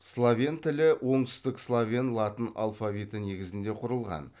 словен тілі оңтүстік словен латын алфавиті негізінде құрылған